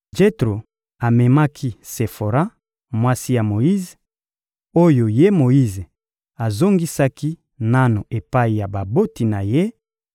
Jetro amemaki Sefora, mwasi ya Moyize, oyo ye Moyize azongisaki nanu epai ya baboti na ye,